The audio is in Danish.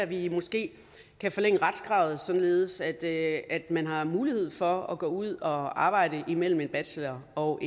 vi måske kan forlænge retskravet således at at man har mulighed for at gå ud og arbejde imellem en bachelor og